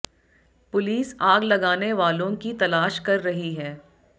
police आग लगाने वालों की तलाश कर रही है